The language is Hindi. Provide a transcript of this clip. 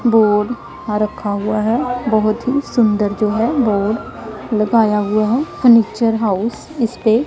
बोर्ड आ रखा हुआ है बहुत ही सुंदर जो है बोर्ड लगाया हुआ है फर्नीचर हाउस इस पे--